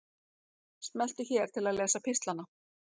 Smelltu hér til að lesa pistlana